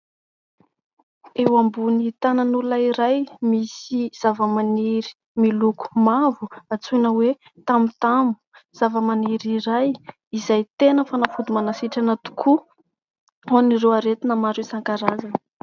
Eo ambony tanan'olona iray, misy zavamaniry miloko mavo antsoina hoe tamotamo. Zavamaniry iray izay tena fanafody manasitrana tokoa ho an'ireo aretina maro isan-karazany.